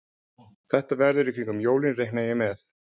Þetta verður í kringum jólin reikna ég með.